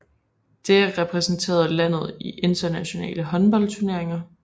Det repræsenterede landet i internationale håndboldturneringer